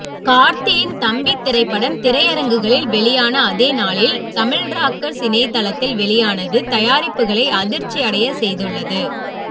கார்த்தியின் தம்பி திரைப்படம் திரையரங்குகளில் வெளியான அதே நாளில் தமிழ்ராக்கர்ஸ் இணையதளத்தில் வெளியானது தயாரிப்பாளர்களை அதிர்ச்சியடைய செய்துள்ளது